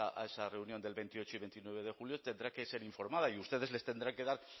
a esa reunión del veintiocho y veintinueve de julio tendrá que ser informada y ustedes les tendrán que dar